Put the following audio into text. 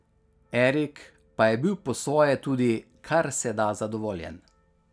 Erik pa je bil po svoje tudi karseda zadovoljen.